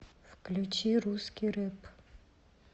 включи русский рэп